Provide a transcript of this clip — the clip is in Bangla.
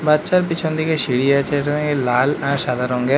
বাচ্চার পিছন দিকে সিঁড়ি আছে ওটা লাল আর সাদা রঙ এর।